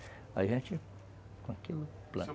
Aí a gente, com aquilo, planta.